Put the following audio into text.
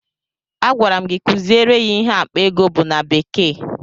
Agwara m gị kuziere ya ihe akpa ego bụ na bekee!